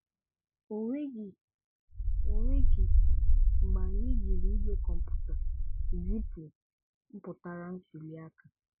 Ọ nweghị Ọ nweghị mgbe anyị jìrì igwe kọ̀mpụta zìpụ̀ mpụtara ntùlíaka.